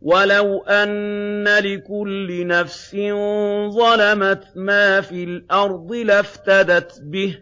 وَلَوْ أَنَّ لِكُلِّ نَفْسٍ ظَلَمَتْ مَا فِي الْأَرْضِ لَافْتَدَتْ بِهِ ۗ